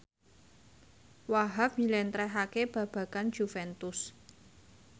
Wahhab njlentrehake babagan Juventus